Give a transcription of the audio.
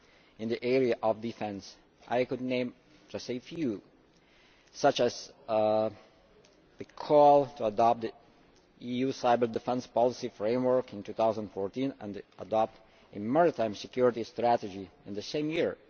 In the area of defence I could name just a few, such as the call to adopt the EU cyber defence policy framework in 2014 and to adopt a maritime security strategy in the same year.